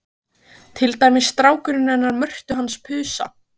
Til dæmis strákurinn hennar Mörtu hans Pusa.